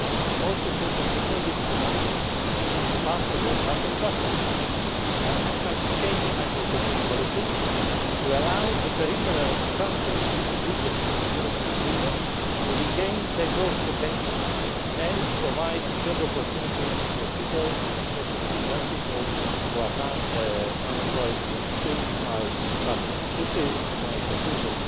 come. The most important meeting is tonight, partly here, but also in Brussels. The time has come to change the macroeconomic policies, to allow the peripheral countries and regions of the European Union to regain their growth potential and provide job opportunities for people, and especially for young people who are now excessively affected by unemployment. This is my